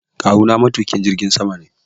Kawu na matuƙin jirgin sama ne